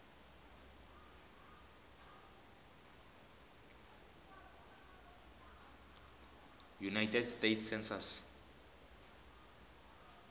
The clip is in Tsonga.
united states census